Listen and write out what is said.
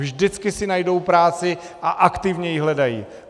Vždycky si najdou práci a aktivně ji hledají.